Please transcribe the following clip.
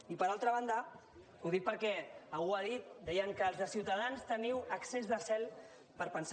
i per altra banda ho dic perquè algú ho ha dit deien que els de ciutadans teniu excés de zel per pensar